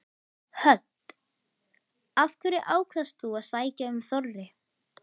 Hödd: Af hverju ákvaðst þú að sækja um Þorri?